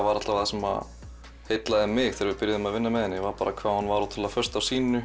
var það sem heillaði mig þegar við byrjuðum að vinna með henni var hvað hún var föst á sínu